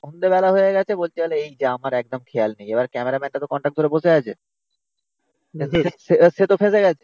সন্ধ্যেবেলা হয়ে গেছে বলছে এই যে আমার একদম খেয়াল নেই, এবার ক্যামেরাম্যানটা তো কনটাকট করে বসে আছে সে তো ফেসে গেছে।